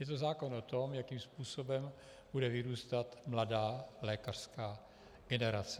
Je to zákon o tom, jakým způsobem bude vyrůstat mladá lékařská generace.